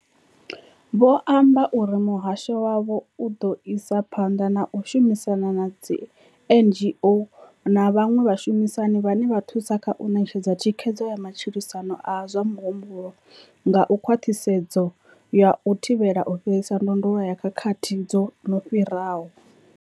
Vho amba uri muhasho wavho u ḓo isa phanḓa na u shumisana na dzi NGO na vhaṅwe vhashumisani vhane vha thusa kha u ṋetshedza thikhedzo ya matshilisano a zwa muhumbulo nga khwaṱhisedzo ya u thivhela u fhirisa ndondolo ya khakhathi dzo no fhiraho.